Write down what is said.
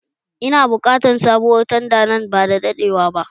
Ina buƙatar sabuwar tanda nan bada daɗewa ba